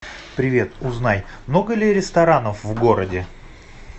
привет узнай много ли ресторанов в городе